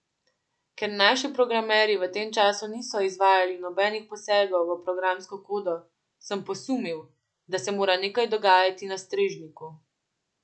Ker naši programerji v tem času niso izvajali nobenih posegov v programsko kodo, sem posumil, da se mora nekaj dogajati na strežniku.